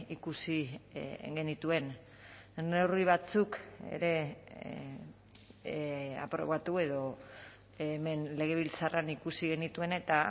ikusi genituen neurri batzuk ere aprobatu edo hemen legebiltzarrean ikusi genituen eta